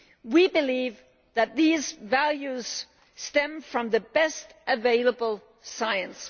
We believe that these values stem from the best available science.